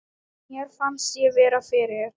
Mér fannst ég vera fyrir.